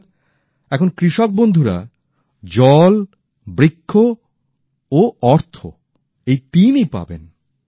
অর্থাৎ এখন কৃষক বন্ধুরা জল বৃক্ষ ও অর্থ এই তিনই পাবে